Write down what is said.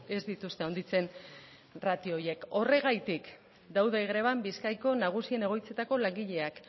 ez dituzte handitzen ratio horiek horregatik daude greban bizkaiko nagusien egoitzetako langileak